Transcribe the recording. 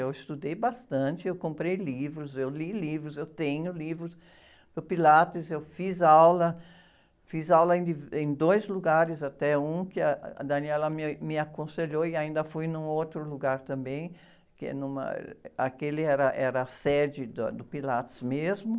Eu estudei bastante, eu comprei livros, eu li livros, eu tenho livros do Pilates, eu fiz aula, fiz aula ainda em dois lugares até, um que a me, me aconselhou e ainda fui num outro lugar também, que é numa, aquele era, era a sede do Pilates mesmo.